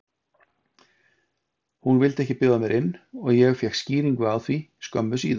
Hún vildi ekki bjóða mér inn og ég fékk skýringu á því skömmu síðar